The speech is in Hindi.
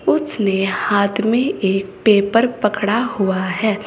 उसने हाथ में एक पेपर पकड़ा हुआ है।